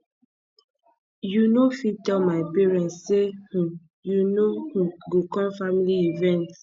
you no fit tell my parents sey um you no um go com family event